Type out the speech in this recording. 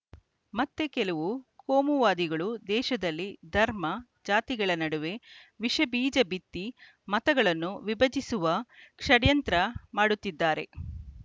ಮತ್ತೆ ಕೆಲವು ಕೋಮುವಾದಿಗಳು ದೇಶದಲ್ಲಿ ಧರ್ಮ ಜಾತಿಗಳ ನಡುವೆ ವಿಷಬೀಜ ಬಿತ್ತಿ ಮತಗಳನ್ನು ವಿಭಜಿಸುವ ಷಡ್ಯಂತ್ರ ಮಾಡುತ್ತಿದ್ದಾರೆ